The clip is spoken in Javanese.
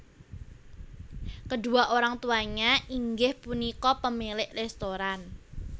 Kedua orang tuanya inggih punika pemilik restoran